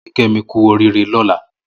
Mò mà lọ kí Kemi kù óriré lọ̀là